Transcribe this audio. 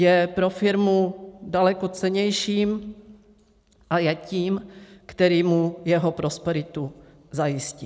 Je pro firmu daleko cennějším a je tím, který mu jeho prosperitu zajistí.